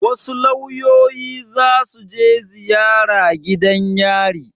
Wasu lauyoyi za su je ziyara gidan yari.